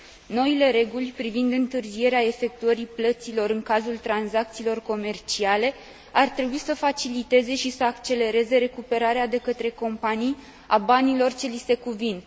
Noile reguli privind întârzierea efectuării plăților în cazul tranzacțiilor comerciale ar trebui să faciliteze și să accelereze recuperarea de către companii a banilor ce li se cuvin.